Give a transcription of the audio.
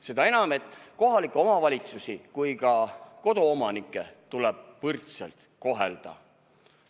Seda enam, et nii kohalikke omavalitsusi kui ka koduomanikke tuleb võrdselt kohelda.